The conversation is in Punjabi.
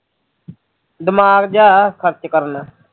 ਦਿਮਾਗ ਜਿਹਾ ਐ ਖਰਚ ਕਰ ਲੈਂਦੇ ਐ